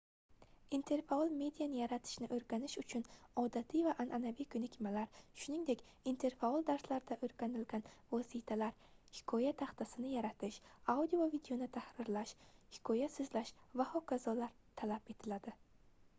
interfaol mediani yaratishni o'rganish uchun odatiy va an'anaviy ko'nikmalar shuningdek interfaol darslarda o'rganilgan vositalar hikoya taxtasini yaratish audio va videoni tahrirlash hikoya so'zlash va h.k. talab etiladi